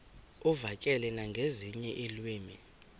uvakale nangezinye iilwimi